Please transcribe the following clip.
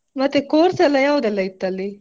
ಮತ್ತೆ course ಎಲ್ಲ ಯಾವ್ದೆಲ್ಲ ಇತ್ತಲ್ಲಿ.